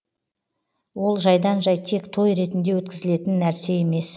ол жайдан жай тек той ретінде өткізілетін нәрсе емес